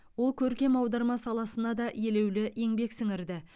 ол көркем аударма саласына да елеулі еңбек сіңірді